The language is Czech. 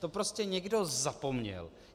To prostě někdo zapomněl.